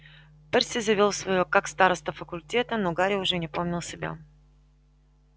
перси завёл своё как староста факультета но гарри уже не помнил себя